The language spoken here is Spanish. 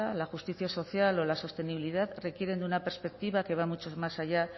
la justicia social o la sostenibilidad requieren de una perspectiva que va mucho más allá